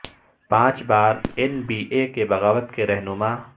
پانچ بار N B A کے بغاوت کے رہنما